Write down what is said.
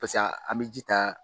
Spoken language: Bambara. an bɛ ji ta